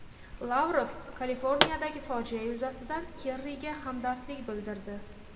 Lavrov Kaliforniyadagi fojia yuzasidan Kerriga hamdardlik bildirdi.